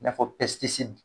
N'a fɔ